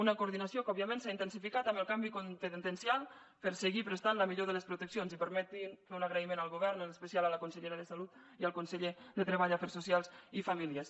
una coordinació que òbviament s’ha intensificat amb el canvi competencial per seguir prestant la millor de les proteccions i permetin me fer un agraïment al govern en especial a la consellera de salut i al conseller de treball afers socials i famílies